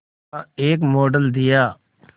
का एक मॉडल दिया